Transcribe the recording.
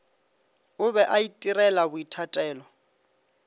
o be a itirela boithatelo